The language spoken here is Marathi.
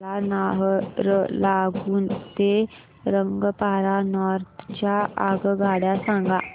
मला नाहरलागुन ते रंगपारा नॉर्थ च्या आगगाड्या सांगा